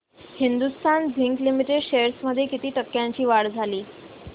Hindustan zinc limited shares मध्ये किती टक्क्यांची वाढ झाली